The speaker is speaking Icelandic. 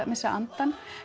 missa andann